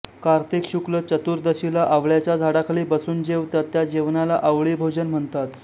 कार्तिक शुक्ल चतुर्दशीला आवळ्याच्या झाडाखाली बसून जेवतात त्या जेवणाला आवळी भोजन म्हणतात